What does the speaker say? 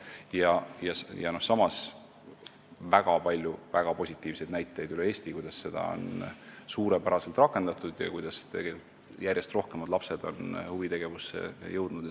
Samas on üle Eesti väga palju väga positiivseid näiteid, kuidas seda raha on suurepäraselt rakendatud, nii et järjest rohkem lapsi on huvitegevusteni jõudnud.